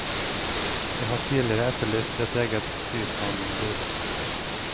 Jeg har tidligere etterlyst et eget byplanombud.